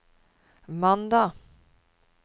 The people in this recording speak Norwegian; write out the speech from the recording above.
mandag